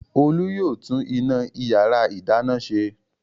Olú yóò tún iná ìyàrá-ìdáná ṣe.